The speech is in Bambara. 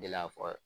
Delila fɔ